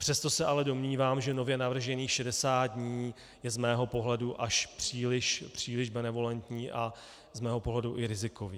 Přesto se ale domnívám, že nově navržených 60 dní je z mého pohledu až příliš benevolentní a z mého pohledu i rizikové.